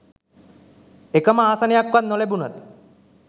එකම ආසනයක්වත් නොලැබුණත්